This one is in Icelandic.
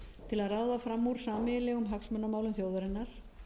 til að ráða fram úr sameiginlegum hagsmunamálum þjóðarinnar